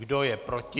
Kdo je proti?